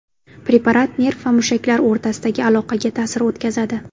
Preparat nerv va mushaklar o‘rtasidagi aloqaga ta’sir o‘tkazadi.